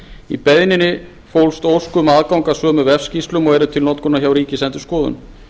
í beiðninni fólst ósk um aðgang að sömu vefskýrslum og eru til notkunar hjá ríkisendurskoðun